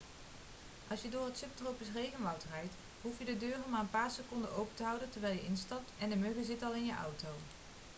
als je door het subtropisch regenwoud rijdt hoef je de deuren maar een paar seconden open te houden terwijl je instapt en de muggen zitten al in je auto